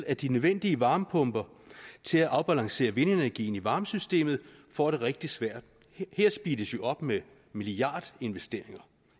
at de nødvendige varmepumper til at afbalancere vindenergien i varmesystemet får det rigtig svært her speedes jo op med milliardinvesteringer